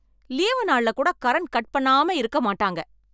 leave நாள்ல கூட current cut பண்ணாம இருக்க மாட்டாங்க